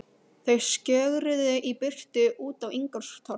Þau skjögruðu í burtu út á Ingólfstorg.